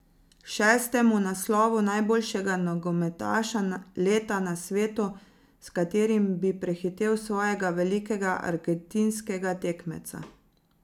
Šestemu naslovu najboljšega nogometaša leta na svetu, s katerim bi prehitel svojega velikega argentinskega tekmeca.